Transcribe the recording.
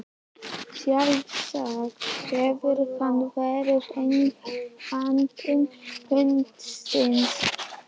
Sjálfsagt hefur hann verið eigandi hundsins.